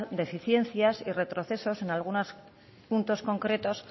deficiencias y retrocesos en algunos puntos concretos